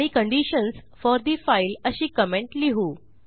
आणि conditions for the file अशी comment लिहू